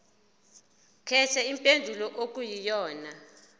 khetha impendulo okuyiyona